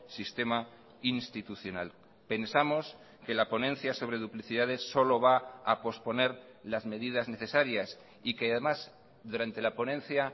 sistema institucional pensamos que la ponencia sobre duplicidades solo va a posponer las medidas necesarias y que además durante la ponencia